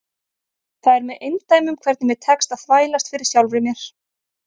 Það er með eindæmum hvernig mér tekst að þvælast fyrir sjálfri mér.